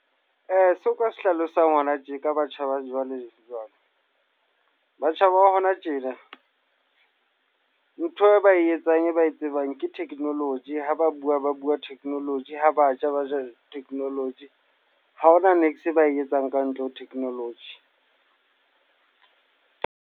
Seo nka se hlalosang hona tje, ka batjha ba jwale jwale. Batjha ba hona tjena, ntho e ba e etsang e ba e tsebang ke technology. Ha ba bua, ba bua technology. Ha ba ja, ba jap technology. Ha ho na e ba e etsang ka ntle ho technology.